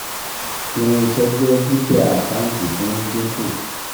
Irinṣẹ́ jẹ́ dúkìá àkántì tí ó ń dínkù